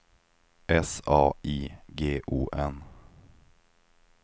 S A I G O N